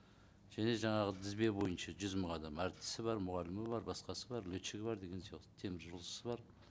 және жаңағы тізбе бойынша жүз мың адам әртісі бар мұғалімі бар басқасы бар летчигі бар деген сияқты теміржолшысы бар